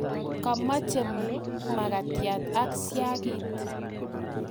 kamoche mkatiat ak siagit.